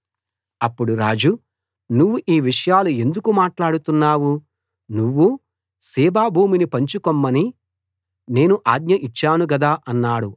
అప్పుడు రాజు నువ్వు ఆ విషయాలు ఎందుకు మాట్లాడుతున్నావు నువ్వూ సీబా భూమిని పంచుకొమ్మని నేను ఆజ్ఞ ఇచ్చాను గదా అన్నాడు